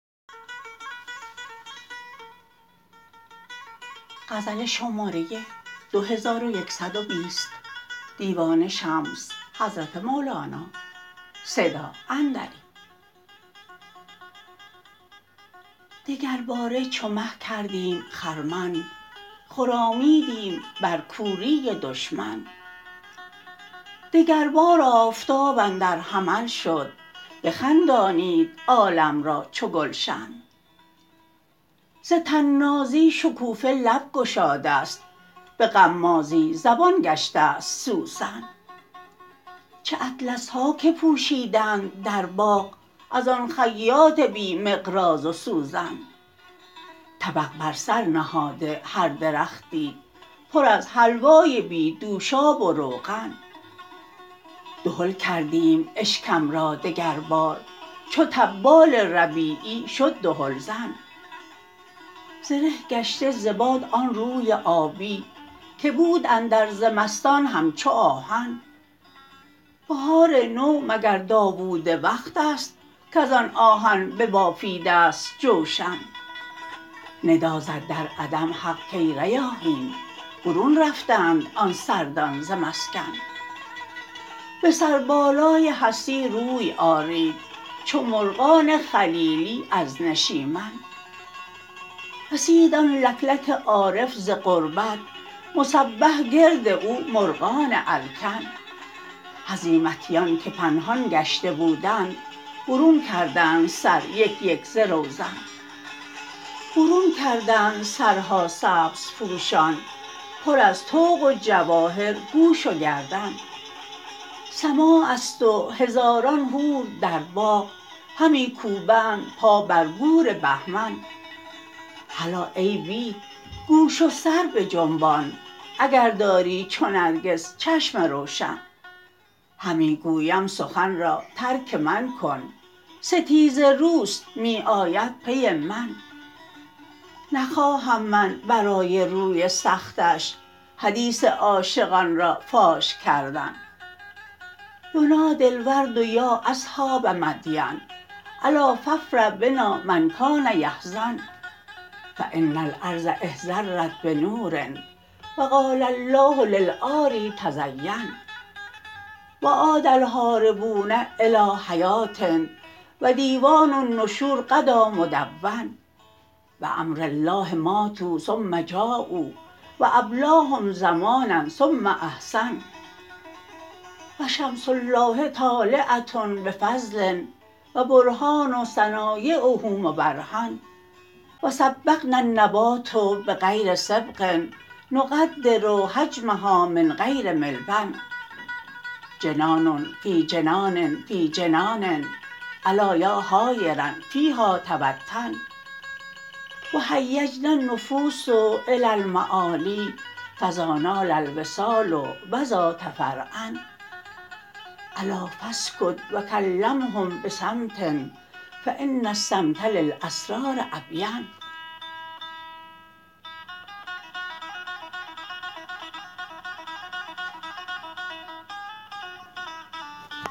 دگرباره چو مه کردیم خرمن خرامیدیم بر کوری دشمن دگربار آفتاب اندر حمل شد بخندانید عالم را چو گلشن ز طنازی شکوفه لب گشاده ست به غمازی زبان گشته ست سوسن چه اطلس ها که پوشیدند در باغ از آن خیاط بی مقراض و سوزن طبق بر سر نهاده هر درختی پر از حلوای بی دوشاب و روغن دهل کردیم اشکم را دگربار چو طبال ربیعی شد دهلزن ز ره گشته ز باد آن روی آبی که بود اندر زمستان همچو آهن بهار نو مگر داوود وقت است کز آن آهن ببافیده ست جوشن ندا زد در عدم حق کای ریاحین برون رفتند آن سردان ز مسکن به سربالای هستی روی آرید چو مرغان خلیلی از نشیمن رسید آن لک لک عارف ز غربت مسبح گرد او مرغان الکن هزیمتیان که پنهان گشته بودند برون کردند سر یک یک ز روزن برون کردند سرها سبزپوشان پر از طوق و جواهر گوش و گردن سماع است و هزاران حور در باغ همی کوبند پا بر گور بهمن هلا ای بید گوش و سر بجنبان اگر داری چو نرگس چشم روشن همی گویم سخن را ترک من کن ستیزه رو است می آید پی من نخواهم من برای روی سختش حدیث عاشقان را فاش کردن ینادی الورد یا اصحاب مدین الا فافرح بنا من کان یحزن فان الارض اخضرت بنور و قال الله للعاری تزین و عاد الهاربون الی حیاه و دیوان النشور غدا مدون بامر الله ماتوا ثم جاؤا و ابلاهم زمانا ثم احسن و شمس الله طالعه به فضل و برهان صنایعه مبرهن و صبغنا النبات بغیر صبغ نقدر حجمها من غیر ملبن جنان فی جنان فی جنان الا یا حایرا فیها توطن و هیجنا النفوس الی المعالی فذا نال الوصال و ذا تفرعن الا فاسکت و کلمهم به صمت فان الصمت للاسرار ابین